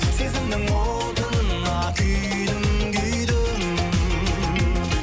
сезімнің отына күйдім күйдім